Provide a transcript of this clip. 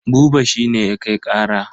Buba shi ne ya kai ƙara.